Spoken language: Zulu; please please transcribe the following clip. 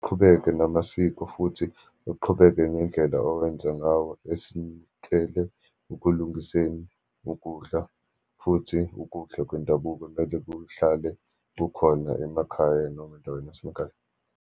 Qhubeke namasiko, futhi uqhubeke nendlela owenza ngawo esikele ukulungiseni ukudla, futhi ukudla kwendabuko mele kuhlale kukhona emakhaya, noma endaweni yasemakhaya.